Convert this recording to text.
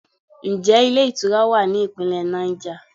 Ǹjẹ́ ilé ìtura wa ní Ìpínlẹ̀ Niger?